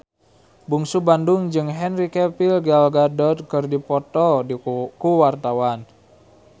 Bungsu Bandung jeung Henry Cavill Gal Gadot keur dipoto ku wartawan